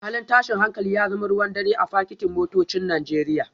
Halin tashin hankali ya zama ruwan dare a fakitin motocin Najeriya